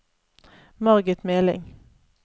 Margit Meling